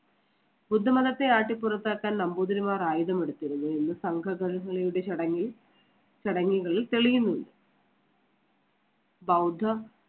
ബുദ്ധമതത്തെ ആട്ടി പുറത്താക്കാൻ നമ്പൂതിരിമാർ ആയുധമെടുത്തിരുന്നു എന്ന് സംഘ ചടങ്ങിൽ, ചടങ്ങുകളിൽ തെളിയുന്നു. ബൌദ്ധ